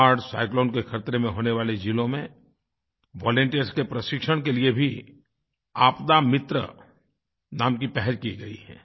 बाढ़ साइक्लोन के खतरे में होने वाले ज़िलों में वॉलंटियर्स के प्रशिक्षण के लिए भी आपदा मित्र नाम की पहल की गई है